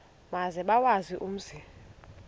maze bawazi umzi